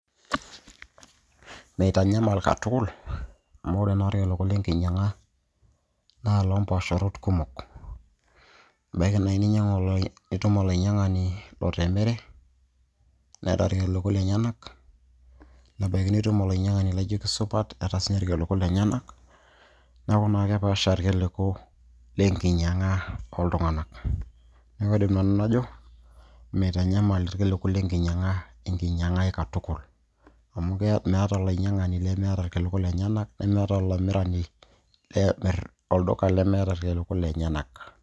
Meitanyamal katukul, amu ore naa irkiliku lenkinyang'a na lompaasharot kumok. Ebaiki nai nitum olainyang'ani loteremere, neeta irkiliku lenyanak, nebaiki nitum olainyang'ani laijo kisupat neeta sinye irkiliku lenyanak. Neeku naa kepaasha irkiliku lenkinyang'a oltung'anak. Neeku ore nanu najo, meitanyamal irkiliku lenkinyang'a enkinyang'a ai katukul. Amu meeta olainyang'ani lemeeta irkiliku lenyanak, nemeeta olamirani olduka lemeeta irkiliku lenyanak.